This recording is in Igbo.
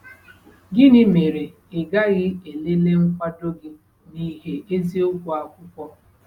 Gịnị mere ị gaghị elele nkwado gị n'ìhè eziokwu akwụkwọ?